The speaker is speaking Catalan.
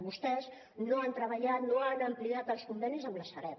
vostès no han treballat no han ampliat els convenis amb la sareb